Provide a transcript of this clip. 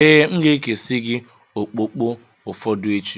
Ee, M ga-ekesi gị okpokpo ụfọdụ echi.